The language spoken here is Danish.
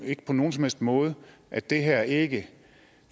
ikke på nogen som helst måde at det her ikke